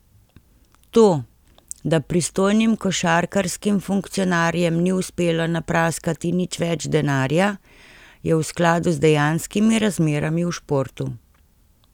To, da pristojnim košarkarskim funkcionarjem ni uspelo napraskati nič več denarja, je v skladu z dejanskimi razmerami v športu.